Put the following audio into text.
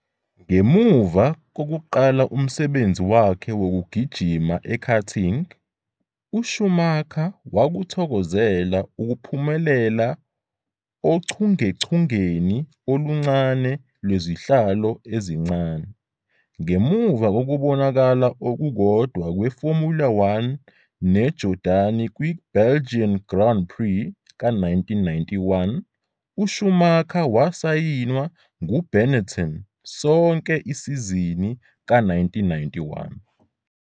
Ngemuva kokuqala umsebenzi wakhe wokugijima ekarting, uSchumacher wakuthokozela ukuphumelela ochungechungeni oluncane lwezihlalo ezincane. Ngemuva kokubonakala okukodwa kweFormula One noJordani kwi-Belgian Grand Prix ka-1991, uSchumacher wasayinwa nguBenetton sonke isizini ka-1991.